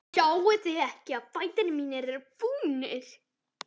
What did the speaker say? Sjáiði ekki að fætur mínir eru fúnir?